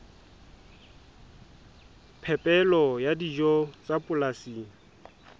phepelo ya dijo tsa polasing